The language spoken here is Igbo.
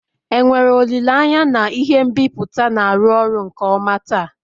enwere olile anya na ihe nbipute na-arụ ọrụ nke ọma taa?